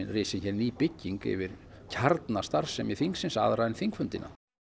risin hér bygging yfir kjarnastarfsemi þingsins aðra en þingfundina